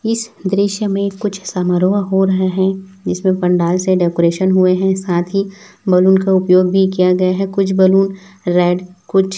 इस दृश्य में कुछ समारोहा हो रहा हैं जिसमें पंडाल से डेकोरेशन हुए हैं साथ ही बलून का उपयोग भी किया गया है कुछ बलून रेड कुछ--